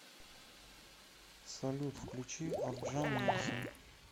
салют включи орджан нильсен